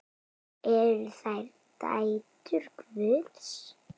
Eru þær dætur Guðs?